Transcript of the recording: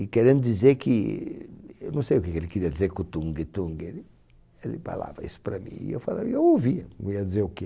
E querendo dizer que, eu não sei o que ele queria dizer com o tungue-tungue, ele falava isso para mim e eu ouvi, eu ia dizer o quê.